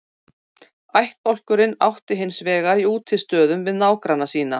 Ættbálkurinn átti hins vegar í útistöðum við nágranna sína.